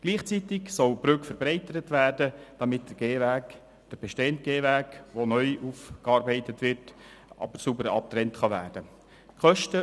Gleichzeitig soll die Brücke verbreitert werden, damit der bestehende Gehweg, der neu aufgearbeitet wird, sauber abgetrennt werden kann.